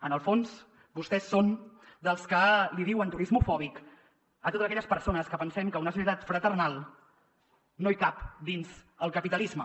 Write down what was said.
en el fons vostès són dels que diuen turismofòbiques a totes aquelles persones que pensem que una societat fraternal no hi cap dins el capitalisme